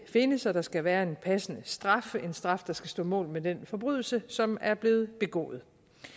findes og der skal være en passende straf en straf der skal stå mål med den forbrydelse som er blevet begået